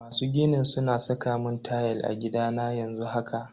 Masu ginin suna saka mun tayal a gidana yanzu haka.